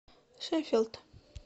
шеффилд